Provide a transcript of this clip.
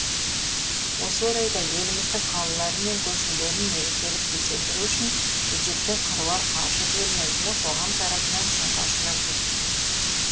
осы орайда еліміздің қалалары мен көшелерін мерекелік безендіру үшін бюджеттен қыруар қаржы бөлінетіні қоғам тарапынан сынға ұшырап жүр